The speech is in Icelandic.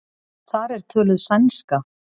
Þar er töluð sænska.